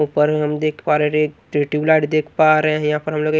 ऊपर हम देख पा रहे हैं एक ट्यूबलाइट दिख पा रहे हैं यहां पर हम लोग ये--